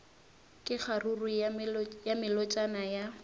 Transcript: ka kgaruru ya melotšana ya